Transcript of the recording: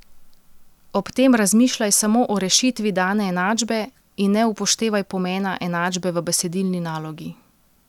Ob tem razmišljaj samo o rešitvi dane enačbe in ne upoštevaj pomena enačbe v besedilni nalogi.